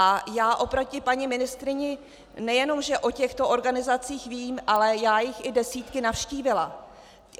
A já oproti paní ministryni nejenom že o těchto organizacích vím, ale já jich i desítky navštívila.